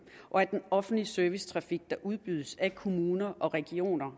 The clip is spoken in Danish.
og at den offentlige servicetrafik der udbydes af kommuner og regioner